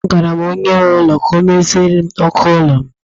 Agwara m onye nwe ụlọ ka ọ meziere m ọkụ ime ụlọ m